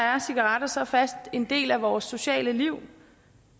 er cigaretter så fast en del af vores sociale liv